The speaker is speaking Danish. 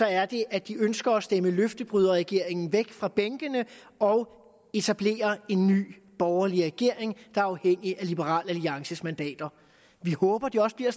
er det at de ønsker at stemme løftebryderregeringen væk fra bænkene og etablere en ny borgerlig regering der er afhængig af liberal alliances mandater vi håber at det også bliver